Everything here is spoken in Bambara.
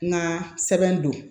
N ka sɛbɛn don